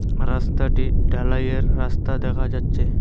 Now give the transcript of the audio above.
রাস্তাটি ঢালাইয়ের রাস্তা দেখা যাচ্ছে।